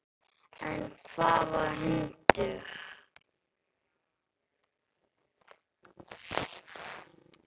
En hvaða hundur?